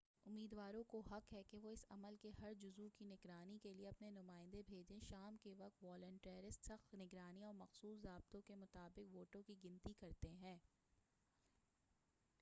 امیدواروں کو حق ہے کہ وہ اس عمل کے ہر جزو کی نگرانی کے لئے اپنے نمایندے بھیجیں شام کے وقت والنٹیرس سخت نگرانی اور مخصوص ضابطوں کے مطا بق ووٹوں کی گنتی کرتے ہیں